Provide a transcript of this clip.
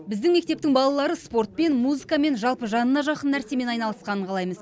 біздің мектептің балалары спортпен музыкамен жалпы жанына жақын нәрсемен айналысқанын қалаймыз